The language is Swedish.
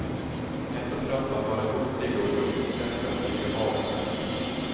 Jag är så trött på att vara hurtig och uppskatta olika vardagsnära ting.